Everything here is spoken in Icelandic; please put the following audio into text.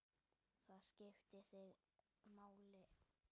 Það skipti þig máli.